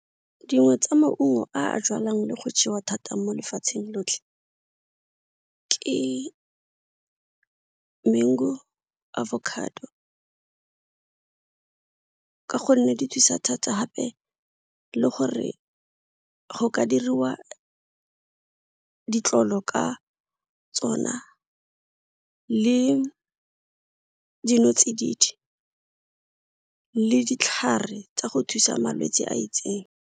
Dingwe tsa maungo a jalwang le go jewa thata mo lefatsheng lotlhe ke mango, avocado ka gonne di thusa thata gape le gore go ka diriwa ditlolo ka tsona le dinotsididi le ditlhare tsa go thusa malwetse a itseng.